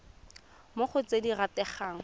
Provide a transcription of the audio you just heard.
mo go tse di rategang